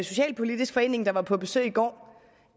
socialpolitisk forening der var på besøg i går